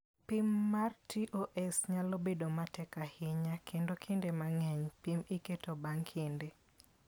Pim mar TOS nyalo bedo matek ahinya, kendo kinde mang'eny, pim iketo bang' kinde.